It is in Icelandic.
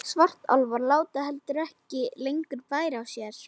Svartálfar láta heldur ekki lengur bæra á sér.